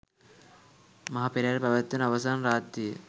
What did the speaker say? මහ පෙරහැර පැවැත්වෙන අවසාන රාත්‍රිය